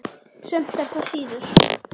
Sumt er það síður.